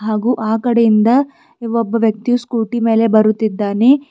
ಹಾಗು ಆ ಕಡೆಯಿಂದ ಒಬ್ಬ ವ್ಯಕ್ತಿಯು ಸ್ಕೂಟಿ ಮೇಲೆ ಬರುತ್ತಿದ್ದಾನೆ.